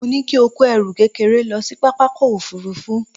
Mo ní kí ó kó ẹrù kékeré lọ sí pápákọ̀ òfuurufú